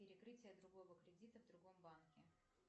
перекрытие другого кредита в другом банке